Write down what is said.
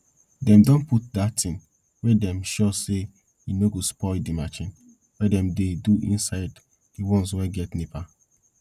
dem don put dat thing wey dem sure say e no go spoil de marchin wey dem dey do inside de ones wey get nepa